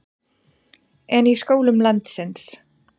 En í skólum landsins?